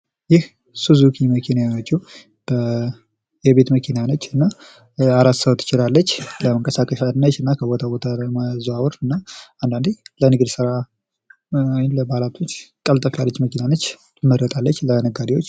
ይህ ሱዙኪ መኪና የሆነችዉ የቤት መኪና ነች እና አራት ሰዎች ትይዛለች ፤ ለመንቀሳቀሻ እና ከቦታ ቦታ ለመዘዋወሪያ እና አንዳንዴም ለንግድ ስራ ትሆናለች ፤ ትመረጣለች ለነጋዴዎች።